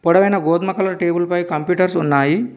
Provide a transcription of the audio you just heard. పొడవైన గోధుమ కలర్ టేబుల్పై కంప్యూటర్స్ ఉన్నాయి.